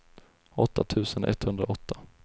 åtta tusen etthundraåtta